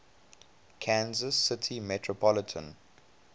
kansas city metropolitan